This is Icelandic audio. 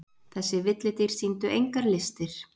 Þessi villidýr sýndu engar listir.